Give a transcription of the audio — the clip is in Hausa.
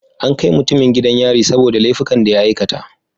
An kai mutumin gidan yari saboda laifukan da ya aikata.